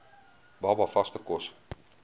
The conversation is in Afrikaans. baba vaste kos